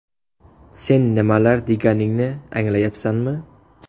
Sen nimalar deganingni anglayapsanmi?